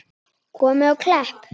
Komið á Klepp?